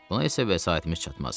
Buna isə vəsaitimiz çatmaz.